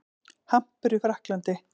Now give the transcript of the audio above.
Hampur í Frakklandi.